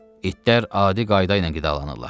İtlər adi qayda ilə qidalanırlar.